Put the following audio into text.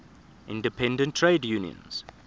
independent trade unions